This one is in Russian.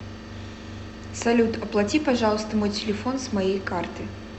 салют оплати пожалуйста мой телефон с моей карты